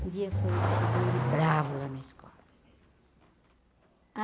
Um dia falou que chegou ele bravo lá na escola.